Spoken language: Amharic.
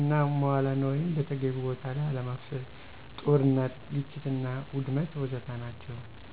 እና መዋለ ነዋይን በተገቢው ቦታ ለይ አለማፍሰስ፤ ጦርነት፥ ግጭትና ውድመት ወዘተ ናቸው።